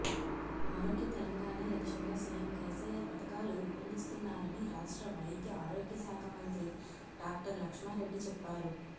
ఆరోగ్య తెలంగాణే లక్ష్యంగా సీఎం కేసీఆర్ పథకాలు రూపొందిస్తున్నారని రాష్ట్ర వైద్య ఆరోగ్య శాఖ మంత్రి డాక్టర్ లక్ష్మారెడ్డి చెప్పారు